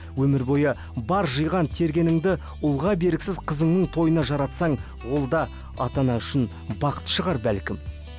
өмір бойы бар жиған тергеніңді ұлға бергісіз қызыңның тойына жаратсаң ол да ата ана үшін бақыт шығар бәлкім